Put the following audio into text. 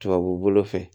Tubabu bolo fɛ